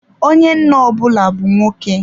Onye nna ọ bụla bu nwoke.